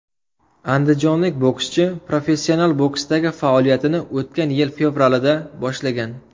Andijonlik bokschi professional boksdagi faoliyatini o‘tgan yil fevralida boshlagan.